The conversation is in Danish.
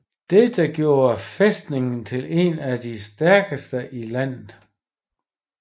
Detta gjorde fæstningen til en af de stærkeste i landet